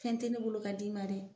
Fɛn tɛ ne bolo ka di ma dɛ.